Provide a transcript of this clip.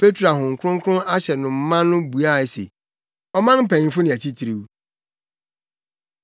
Petro a Honhom Kronkron ahyɛ no ma no buae se, “Ɔman mpanyimfo ne atitiriw.